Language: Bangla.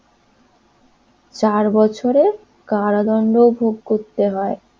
চার বছরে কারাদণ্ড ভোগ করতে হয়।